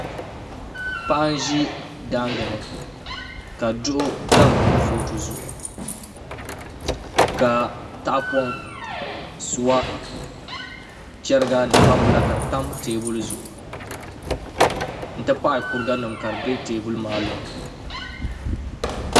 Paɣa n ʒi daangi ni ka duɣu tam kurifooti zuɣu ka tahapoŋ suwa chɛriga ni gbambila tam teebuli zuɣu n ti pahi kuriga nim ka di tam teebuli zuɣu